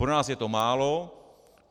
Pro nás je to málo.